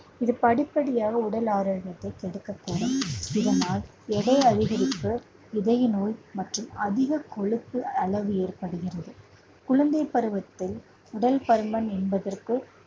இது படிப்படியாக உடல் ஆரோக்கியத்தை கெடுக்கக்கூடும். இதனால் எடை அதிகரிப்பு இதய நோய் மற்றும் அதிக கொழுப்பு அளவு ஏற்படுகிறது. குழந்தைப் பருவத்தில் உடல் பருமன் என்பதற்கு